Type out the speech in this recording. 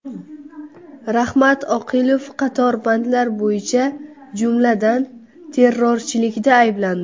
Rahmat Oqilov qator bandlar bo‘yicha, jumladan, terrorchilikda ayblandi.